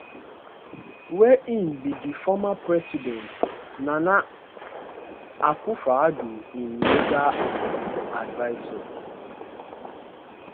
wia im be di former president nana akufoaddo im legal advisor